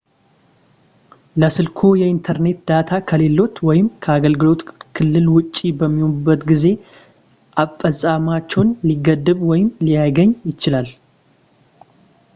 ለስልክዎ የየኢንተርኔት ዳታ ከሌለዎት ወይም ከአገልግሎት ክልል ውጭ በሚሆንበት ጊዜ አፈፃፀማቸው ሊገደብ ወይም ላይገኝ ይችላል